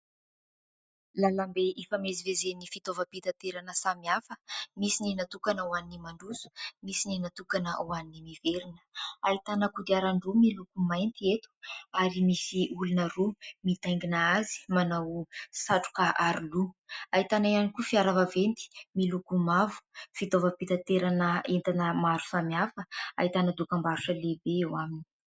Lalambe ifamezivezen'ny fitaovam-pitaterana samihafa. Misy ny natokana ho an'ny mandroso, misy ny natokana ho an'ny miverina. Ahitana kodiarandroa miloko mainty eto ary misy olona roa mitaingina azy manao satroka aroloha. Ahitana ihany koa fiara vaventy miloko mavo, fitaovam-pitaterana entana maro samihafa ahitana dokam-barotra lehibe eo aminy.